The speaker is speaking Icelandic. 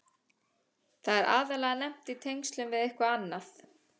Það er aðallega nefnt í tengslum við eitthvað annað.